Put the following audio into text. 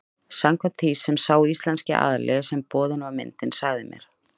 Samkvæmt því sem sá íslenski aðili sem boðin var myndin sagði mér.